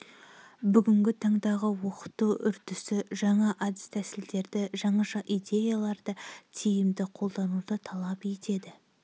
бүгінгі таңдағы оқыту үрдісі жаңа әдіс-тәсілдерді жаңаша идеяларды тиімді қолдануды талап етеді